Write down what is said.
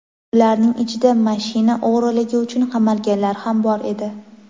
Ularning ichida mashina o‘g‘riligi uchun qamalganlar ham bor edi.